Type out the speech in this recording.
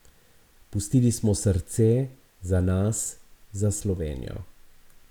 Pustili smo srce, za nas, za Slovenijo.